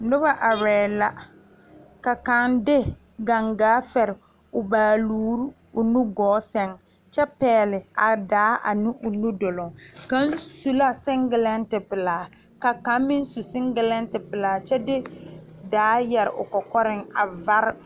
Noba are la ka kaŋ de gangaa a fere o baalure o nugɔɔ saŋ kyɛ pegle a daa ane o nu duloŋ gɔɔ saŋ kaŋ su la singelanti ka kaŋ meŋ su singeanti de daa yeere o kɔkɔre.